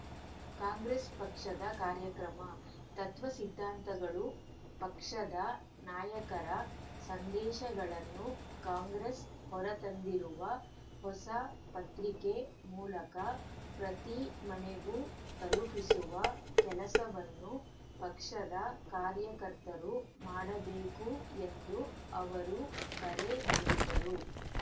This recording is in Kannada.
ಕಾಂಗ್ರೆಸ್‌ ಪಕ್ಷದ ಕಾರ್ಯಕ್ರಮ ತತ್ವ ಸಿದ್ಧಾಂತಗಳು ಪಕ್ಷದ ನಾಯಕರ ಸಂದೇಶಗಳನ್ನು ಕಾಂಗ್ರೆಸ್‌ ಹೊರತಂದಿರುವ ಹೊಸ ಪತ್ರಿಕೆ ಮೂಲಕ ಪ್ರತಿ ಮನೆಗೂ ತಲುಪಿಸುವ ಕೆಲಸವನ್ನು ಪಕ್ಷದ ಕಾರ್ಯಕರ್ತರು ಮಾಡಬೇಕು ಎಂದು ಅವರು ಕರೆ ನೀಡಿದರು